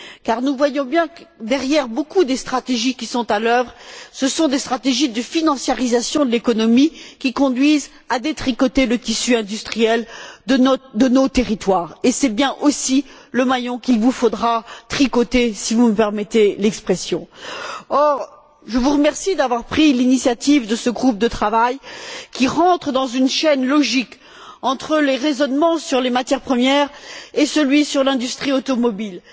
Car nous voyons bien que, derrière de nombreuses stratégies qui sont à l'œuvre, ce sont des stratégies de financiarisation de l'économie qui conduisent à détricoter le tissu industriel de nos territoires, et c'est aussi bien le maillon qu'il vous faudra tricoter, si vous me permettez l'expression. Je vous remercie donc d'avoir pris l'initiative de ce groupe de travail qui rentre dans une chaîne logique entre le raisonnement sur les matières premières et celui sur l'industrie automobile.